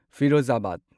Firozabad